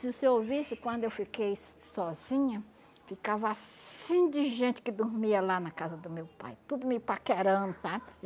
Se você ouvisse, quando eu fiquei sozinha, ficava assim de gente que dormia lá na casa do meu pai, tudo me paquerando, sabe?